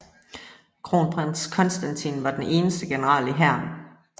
Kronprins Konstantin var den eneste general i hæren